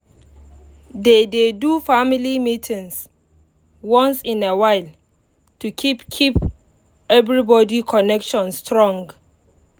they dey do family meetings once in a while to keep keep everybody connection strong um